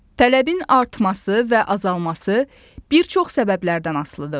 Tələbin artması və azalması bir çox səbəblərdən asılıdır.